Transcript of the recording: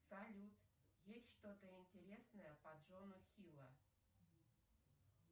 салют есть что то интересное по джону хилла